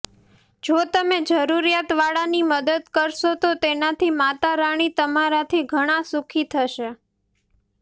જો તમે જરૂરિયાત વાળાની મદદ કરશો તો તેનાથી માતા રાણી તમારાથી ઘણા સુખી થશે